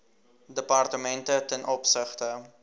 departemente ten opsigte